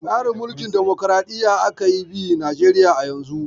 Tsarin Mulkin damukuraɗiyya aka yi bi Najeriya a yanzu.